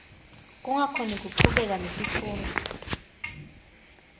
kungakhoni kuchubeka netifundvo